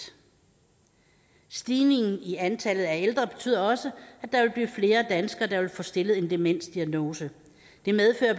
stigningen i antallet af ældre betyder også at der vil blive flere danskere der vil få stillet en demensdiagnose det medfører